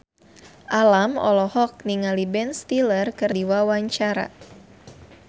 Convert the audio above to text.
Alam olohok ningali Ben Stiller keur diwawancara